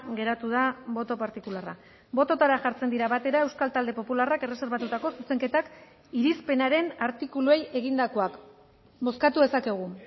geratu da boto partikularra bototara jartzen dira batera euskal talde popularrak erreserbatutako zuzenketak irizpenaren artikuluei egindakoak bozkatu dezakegu